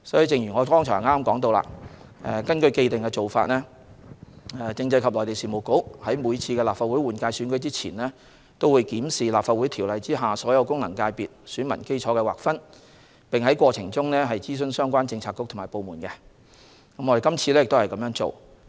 正如我剛才所說，按既定做法，政制及內地事務局在每次立法會換屆選舉前都會檢視《立法會條例》下所有功能界別選民基礎的劃分，並在過程中諮詢相關政策局/部門，這次亦不例外。